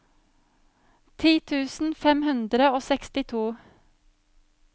ti tusen fem hundre og sekstito